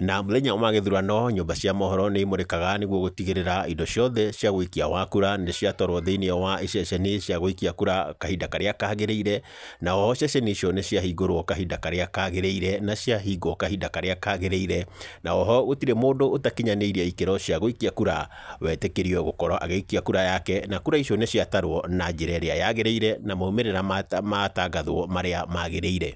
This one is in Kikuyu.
Na mũthenya wa gĩthurano, nyũmba cia mohoro nĩ imũrĩkaga nĩguo gũtigĩrĩra indo ciothe cia wĩikia wa kura nĩ ciatwarwo thĩiniĩ wa iceceni cia gũikia kura kahinda karĩa kagĩrĩire. Na oho ceceni icio nĩ ciahingũrwo kahinda karĩa kagĩrĩire, na ciahingwo kahinda karĩa kagĩrĩire. Na oho gũtirĩ mũndũ ũtakinyanĩirie ikĩro cia gũikia kura wetĩkĩrio gũkorwo agĩikia kura yake. Na kura icio nĩ ciatarwo na njĩra ĩrĩa yagĩrĩire, na maumĩrĩra matagathwo marĩa magĩrĩire.